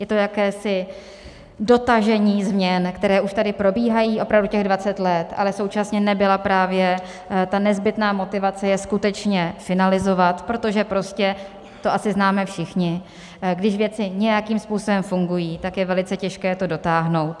Je to jakési dotažení změn, které už tady probíhají opravdu těch 20 let, ale současně nebyla právě ta nezbytná motivace je skutečně finalizovat, protože prostě, to asi známe všichni, když věci nějakým způsobem fungují, tak je velice těžké je dotáhnout.